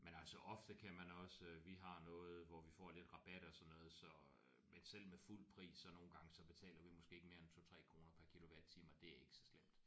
Men altså ofte kan man også vi har noget hvor vi får lidt rabat og sådan noget så øh men selv med fuld pris så nogle gange betaler vi måske ikke mere end 2 3 kroner per kilowatttime og det er ikke så slemt